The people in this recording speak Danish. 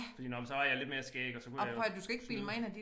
Fordi nåh men så havde jeg lidt mere skæg og så kunne jeg snyde